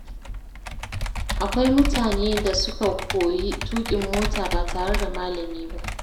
Akwai mutane da suka koyi tuƙin mota ba tare da malami ba.